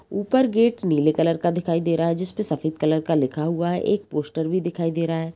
ऊपर गेट नीले कलर का दिखाई दे रहा है | जिसपे सफ़ेद कलर का लिखा हुआ है | एक पोस्टर भी दिखाई दे रहा है ।